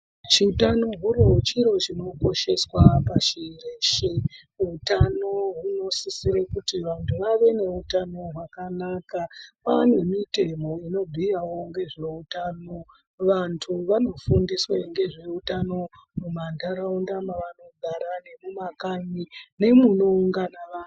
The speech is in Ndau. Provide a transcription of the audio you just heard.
Chiutano huro chiro chinokosheswa pashi reshe. Utano hunosisire kuti vantu vave neutano hwakanaka. Kwaa nemitemo inobhuyawo ngezveutano. Vantu vanofundiswe ngezveutano mumantaraunda mavanogara, nemumakanyi nemunoungana vanhu.